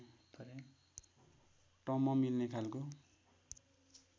टम्म मिल्ने खालको